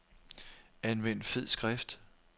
Anvend fed skrift.